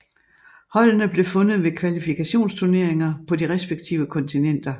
Holdene blev fundet ved kvalifikationsturneringer på de respektive kontinenter